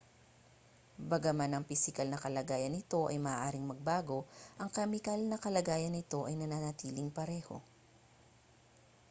bagaman ang pisikal na kalagayan nito ay maaaring magbago ang kemikal na kalagayan nito ay nananatiling pareho